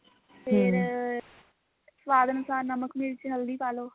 ਫੇਰ ਸਵਾਦ ਅਨੁਸਾਰ ਨਮਕ ਮਿਰਚ ਹਲਦੀ ਪਾ ਲਓ